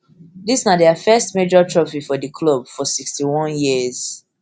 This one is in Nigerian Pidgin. dis na dia first major first major trophy for di club for sixty-one years